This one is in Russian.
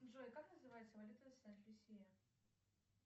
джой как называется валюта сент люсия